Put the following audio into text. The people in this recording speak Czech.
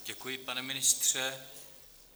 Děkuji, pane ministře.